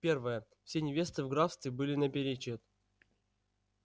первое все невесты в графстве были наперечёт